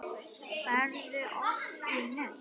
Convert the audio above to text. Ferðu oft í nudd?